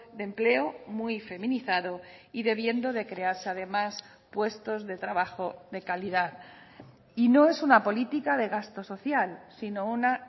de empleo muy feminizado y debiendo de crearse además puestos de trabajo de calidad y no es una política de gasto social sino una